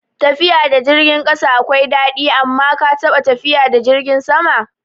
Tafiya da jirgin ƙasa akwai daɗi, amma ka taɓa tafiya da jirgin sama?